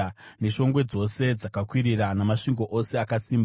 neshongwe dzose dzakakwirira, namasvingo ose akasimba,